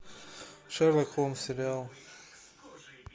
шерлок холмс сериал